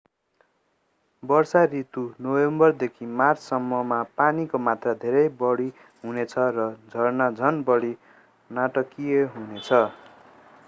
वर्षा ऋतु नोभेम्बरदेखि मार्च सम्म मा पानीको मात्रा धेरै बढी हुनेछ र झरना झन बढी नाटकीय हुनेछ।